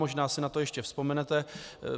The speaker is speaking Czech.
Možná si na to ještě vzpomenete.